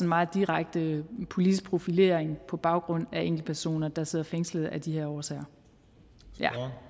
meget direkte politisk profilering på baggrund af enkeltpersoner der sidder fængslet af de her årsager ja